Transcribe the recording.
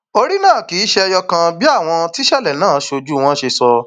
orí náà kì í ṣe ẹyọ kan bí àwọn tíṣẹlẹ náà sójú wọn ṣe sọ